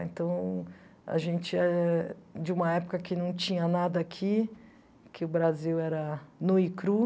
Então a gente é de uma época que não tinha nada aqui, que o Brasil era nu e cru.